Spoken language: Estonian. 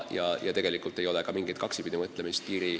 Ja tegelikult ei ole ka mingit kaksipidimõtlemist.